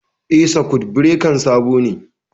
Eh, sakut birekan sabo ne